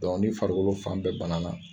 ni farikolo fan bɛɛ bana na